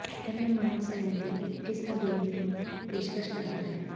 ਇਹ ਮਹਿਮਾਨ ਸੈਰ ਦੀ ਇੱਕ ਕਿਸਮ ਦੇ ਦੀ ਪੇਸ਼ਕਸ਼ ਕਰਦਾ ਹੈ